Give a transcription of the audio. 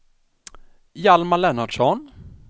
Hjalmar Lennartsson